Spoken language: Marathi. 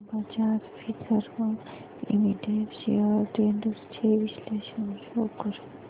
Bajaj Finserv limited shares trends चे विश्लेषण शो कर